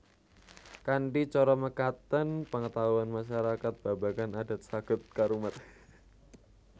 Kanthi cara mekaten pengetahuan masyarakat babagan adat saged karumat